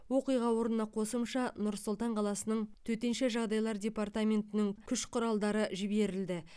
оқиға орнына қосымша нұр сұлтан қаласы төтенше жағдайлар департаментінің күш құралдары жіберілді